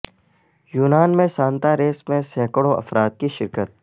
یونان میں Santa race میں سینکڑوں افراد کی شرکت